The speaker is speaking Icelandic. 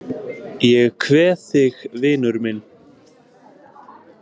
Ég kveð þig vinur minn.